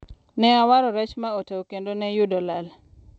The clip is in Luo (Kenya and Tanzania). ne awaro rech ma otow kendo ne yudo lal